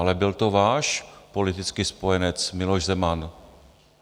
Ale byl to váš politický spojenec Miloš Zeman.